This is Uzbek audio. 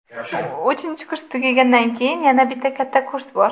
Uchinchi kurs tugagandan keyin yana bitta katta kurs bor.